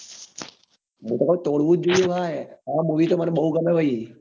Record તોડવું જ જોઈએ ભાઈ આ movie તો મને બઉ ગમે ભાઈ